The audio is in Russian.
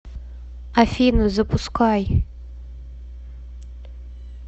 афина запускай